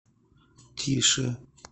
тише